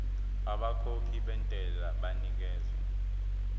abakhokhi bentela banikezwa